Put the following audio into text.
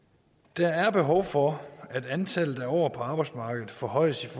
der er behov for at antallet af år på arbejdsmarkedet forhøjes